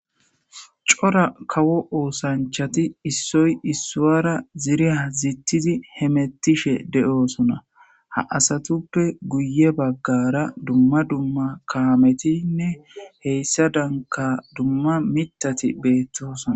Cora kawo oosanchati issoy issuara ziriya zittizi hemettishe de'oosona ha asatuppe guye baggara dumma dumma kaametinne heyssadanka dumma mithati beettosona.